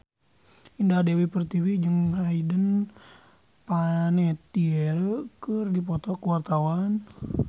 Indah Dewi Pertiwi jeung Hayden Panettiere keur dipoto ku wartawan